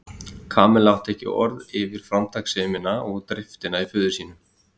Kamilla átti ekki til orð yfir framtakssemina og driftina í föður sínum.